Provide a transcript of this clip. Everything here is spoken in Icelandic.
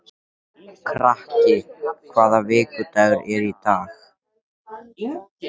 Kraki, hvaða vikudagur er í dag?